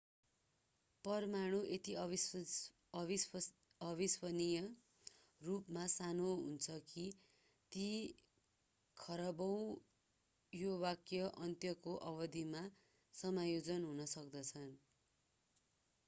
परमाणु यति अविश्वसनीय रूपमा सानो हुन्छ कि ती खरबौँ यो वाक्यको अन्त्यको अवधिमा समायोजन हुन सक्दछ